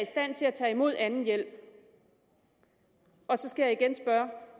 stand til at tage imod anden hjælp så skal jeg igen spørge